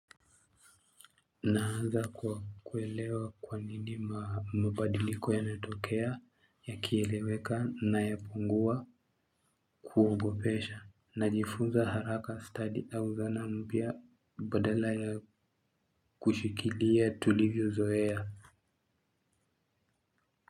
Naanza kwa kuelewa kwa nini mabadiliko yanatokea yakieleweka na yapungua kuongopesha. Najifunza haraka study au zana mpya badala ya kushikilia tulivyo zoea.